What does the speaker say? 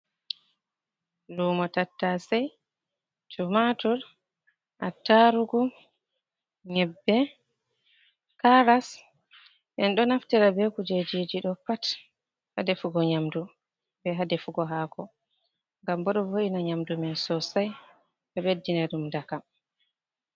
Lumo tattasai, tumatur, a tarugu, nyebbe, karas en ɗo naftira be kujejiji ɗo pat ha defugo nyamdu be ha defugo hako gam bo ɗo vo’ina nyamdu man sosai ɗo ɓeddina ɗum dakam.